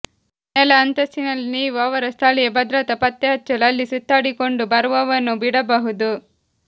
ನೆಲ ಅಂತಸ್ತಿನಲ್ಲಿ ನೀವು ಅವರ ಸ್ಥಳೀಯ ಭದ್ರತಾ ಪತ್ತೆಹಚ್ಚಲು ಅಲ್ಲಿ ಸುತ್ತಾಡಿಕೊಂಡುಬರುವವನು ಬಿಡಬಹುದು